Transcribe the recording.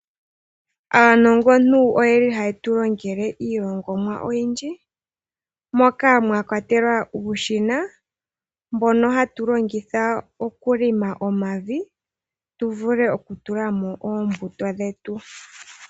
Aanongontu oyeli hayetu longele iilongomwa oyindji ngaashi uushina mbono hawu longithwa okulonga omavi tuvule okutula mo oombuto dhetu.